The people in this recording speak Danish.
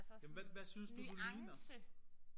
Jamen hvad hvad synes du du ligner?